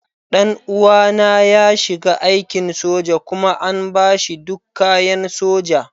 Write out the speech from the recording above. Ɗan uwana ya shiga aikin soja kuma an ba shi duk kayan soja.